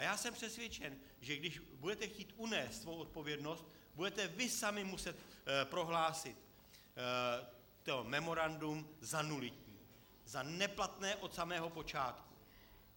A já jsem přesvědčen, že když budete chtít unést svou odpovědnost, budete vy sami muset prohlásit to memorandum za nulitní, za neplatné od samého počátku.